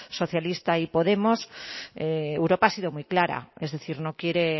socialista y podemos europa ha sido muy clara es decir no quiere